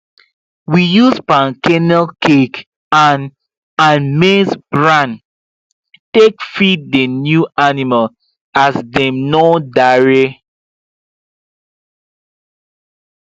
we use palm kernel cake and and maize bran take dey feed the new animl as dem nor dare